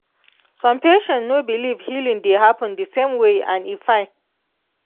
some patients no believe healing dey happen the same way and e fine.